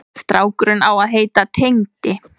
Strákurinn á að heita Tengdi.